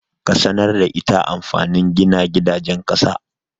Ka sanar da ita anlfanun gina gidajen ƙasa.